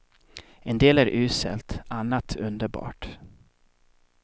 En del är uselt, annat underbart.